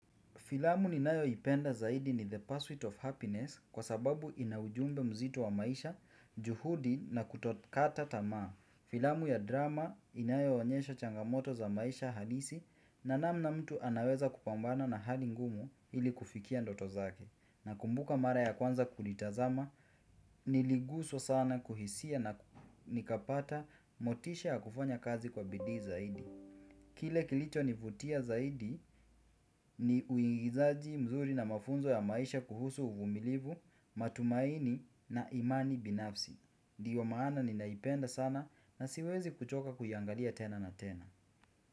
Filamu ni nayoipenda zaidi ni The Pursuit of Happiness kwa sababu ina ujumbe mzito wa maisha, juhudi na kutokata tamaa. Filamu ya drama inayo onyesha changamoto za maisha halisi na namna mtu anaweza kupambana na hali ngumu ili kufikia ndoto zake. Na kumbuka mara ya kwanza kulitazama, niliguswa sana kuhisia na nikapata motisha ya kufanya kazi kwa bidii zaidi. Kile kilicho nivutia zaidi ni uingizaji mzuri na mafunzo ya maisha kuhusu uvumilivu, matumaini na imani binafsi. Dio maana ninaipenda sana na siwezi kuchoka kuiyangalia tena na tena.